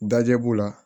Dajɛ b'u la